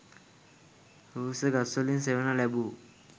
රූස්ස ගස්වලින් සෙවන ලැබූ